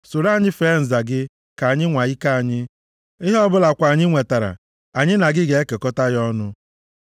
Soro anyị fee nza gị ka anyị nwaa ike anyị, ihe ọbụla kwa anyị nwetara, anyị na gị ga-ekekọta ya ọnụ.”